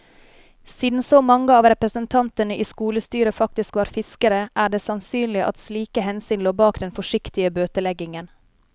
Siden så mange av representantene i skolestyret faktisk var fiskere, er det sannsynlig at slike hensyn lå bak den forsiktige bøteleggingen.